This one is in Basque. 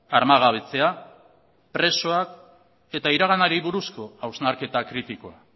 armagabetzea presoak eta iraganari buruzko hausnarketa kritikoa